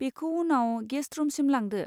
बिखौ उनाव गेस्ट रुमसिम लांदो।